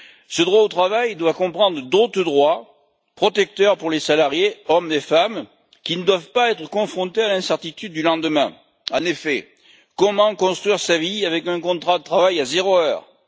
Ce droit au travail doit comprendre d'autres droits protecteurs pour les salariés, hommes et femmes, qui ne doivent pas être confrontés à l'incertitude du lendemain. En effet, comment construire sa vie avec un contrat de travail à zéro heure?